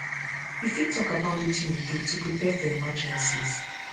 you fit talk about wetin you do to prepare prepare for emergencies